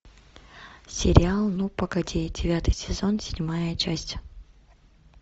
сериал ну погоди девятый сезон седьмая часть